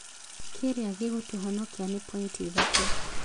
Kĩrĩa gĩgũtũhonokia nĩ pointi ithatũ